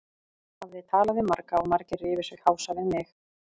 Hafði talað við marga og margir rifu sig hása við mig.